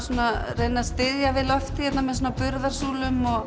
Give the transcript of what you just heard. reyna að styðja við loftið með burðarsúlum og